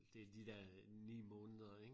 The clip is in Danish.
Det de dér 9 måneder ik?